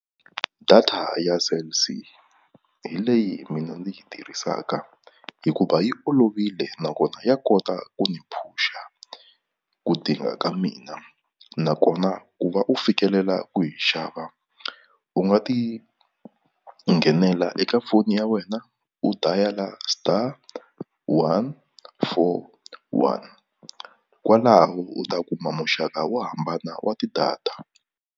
Data ya Cell C hi leyi mina ndzi yi tirhisaka hikuva yi olovile nakona ya kota ku ni push-a ku dinga ka mina nakona ku va u fikelela ku yi xava u nga ti nghenela eka foni ya wena u dial-a star one four one kwalaho u ta kuma muxaka wo hambana wa ti-data.